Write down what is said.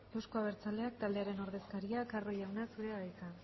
euzko abertzaleak taldearen ordezkaria carro jauna zurea da hitza